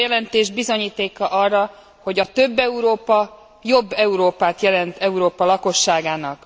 Ez a jelentés bizonyíték arra, hogy a több Európa jobb Európát jelent Európa lakosságának.